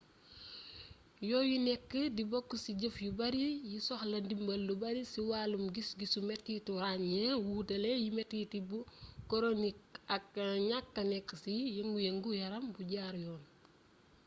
yooyu nekk di bokk ci jëf yu bari yi soxla dimbal lu bari ci wàllum gis-gisu mettitu ràññee wuutale yi metiti bu koronik ak ñakka nekk ci yëngu-yëngu yaram bu jaar yoon